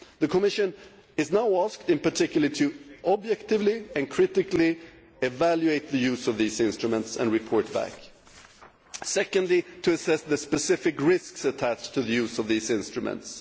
The Commission is now being asked, in particular, to objectively and critically evaluate the use of those instruments and report back, and to assess the specific risks attached to the use of these instruments.